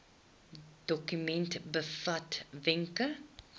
dokument bevat wenke